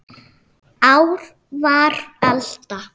Ár var alda